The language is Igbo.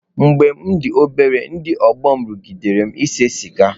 Mgbe m dị obere, ndị ọgbọ m rụgidere m ise siga.